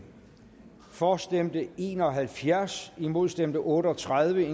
for stemte en og halvfjerds imod stemte otte og tredive